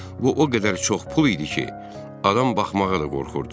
Bu o qədər çox pul idi ki, adam baxmağa da qorxurdu.